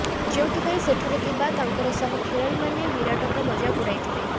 ଯେଉଁଥିପାଇଁ ସେଠାରେ ଥିବା ତାଙ୍କର ସହ ଖେଳାଳିମାନେ ବିରାଟଙ୍କ ମଜାକ୍ ଉଡାଇଥିଲେ